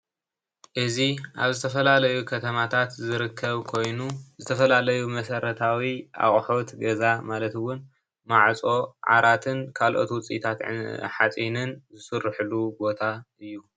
እዚ አብ ዝተፈላለዩ ከተማታት ዝርከብ ኮይኑ ዝተፈላለዩ መሰረታዊ አቑሑት ገዛ ማለት እውን ማዕፆ ዓራትን ካልኦት ውፂታት ሓፂንን ዝስርሑሉ ቦታ እዩ፡፡